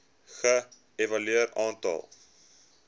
ge evalueer aantal